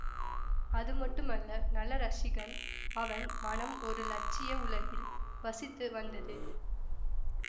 அதுமட்டுமல்ல நல்ல ரஸிகன் அவன் மனம் ஒரு இலட்சிய உலகில் வசித்து வந்தது